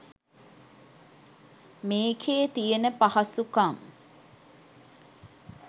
මේකේ තියන පහසුකම්